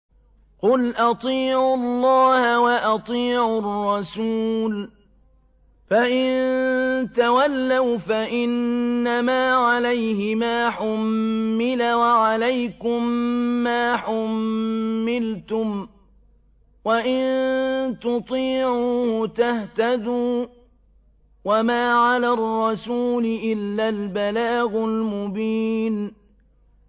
قُلْ أَطِيعُوا اللَّهَ وَأَطِيعُوا الرَّسُولَ ۖ فَإِن تَوَلَّوْا فَإِنَّمَا عَلَيْهِ مَا حُمِّلَ وَعَلَيْكُم مَّا حُمِّلْتُمْ ۖ وَإِن تُطِيعُوهُ تَهْتَدُوا ۚ وَمَا عَلَى الرَّسُولِ إِلَّا الْبَلَاغُ الْمُبِينُ